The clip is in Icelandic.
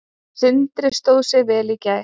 Sindri stóð sig vel í gær.